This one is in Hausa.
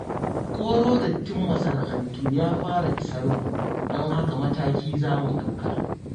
Koro dattin masana'antu ya fara isar mu, don haka mataki za mu ɗauka.